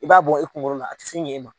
I b'a bɔ i kunkolo la a tɛ sin ɲɛ e ma